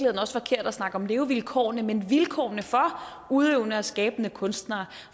snakke om levevilkårene men vilkårene for udøvende og skabende kunstnere